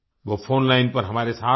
वो फ़ोनलाइन पर हमारे साथ हैं